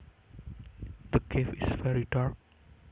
The cave is very dark